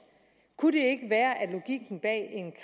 kunne det ikke være at logikken bag